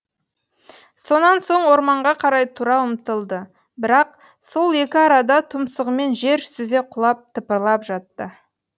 сонан соң орманға қарай тұра ұмтылды бірақ сол екі арада тұмсығымен жер сүзе құлап тыпырлап жатты